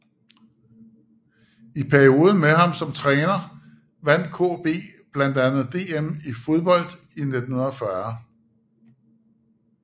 I perioden med ham som træner vandt KB blandt andet DM i fodbold i 1940